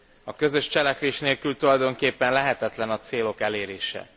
A közös cselekvés nélkül tulajdonképpen lehetetlen a célok elérése.